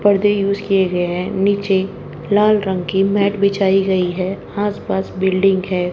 पर्दे यूज किए गए है। नीचे लाल रंग की मैट बिछाई गई है। आस-पास बिल्डिंग है।